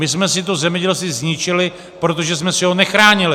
My jsme si to zemědělství zničili, protože jsme si ho nechránili.